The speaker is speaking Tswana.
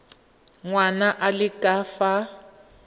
ngwana a le ka fa